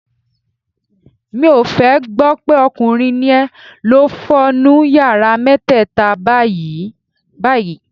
Mi ò fẹ́ gbọ́ pé ọkùnrin ni ẹ, lọ fọ nu yàrá mẹ́tẹ́ẹ̀ta báyìí-báyìí.